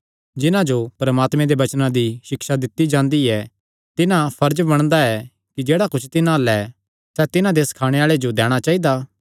जिन्हां जो परमात्मे दे वचनां दी सिक्षा दित्ती जांदी ऐ तिन्हां फर्ज बणदा ऐ कि जेह्ड़ा कुच्छ तिन्हां अल्ल ऐ सैह़ तिन्हां दा सखाणे आल़े जो दैणा चाइदा